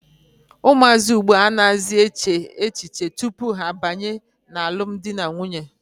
Ụmụazị ugbua a naghị echezi echiche tupu ha abanye n'alụm dị na nwunye.